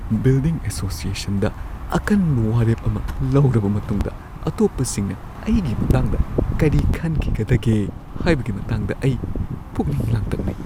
Building ꯑꯦꯁꯣꯁꯤꯌꯦꯁꯟꯗ ꯑꯀꯟꯕ ꯋꯥꯔꯦꯞ ꯑꯃ ꯂꯧꯔꯕ ꯃꯇꯨꯡꯗ ꯑꯇꯣꯞꯄꯁꯤꯡꯅ ꯑꯩꯒꯤ ꯃꯇꯥꯡꯗ ꯀꯔꯤ ꯈꯟꯈꯤꯒꯗꯒꯦ ꯍꯥꯏꯕꯒꯤ ꯃꯇꯥꯡꯗ ꯑꯩ ꯄꯨꯛꯅꯤꯡ ꯂꯥꯡꯇꯛꯅꯩ꯫